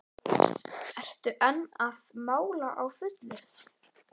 Ertu enn að mála á fullu?